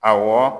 Awɔ